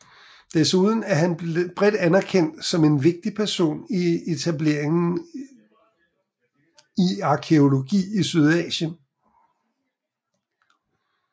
Desuden er han blevet bredt anerkendt som en vigtig person i etableringen i arkæologi i Sydasien